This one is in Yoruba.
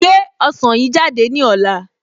Gbé ọsàn yìí jáde ní ọ̀la